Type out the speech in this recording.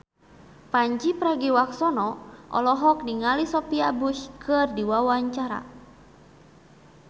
Pandji Pragiwaksono olohok ningali Sophia Bush keur diwawancara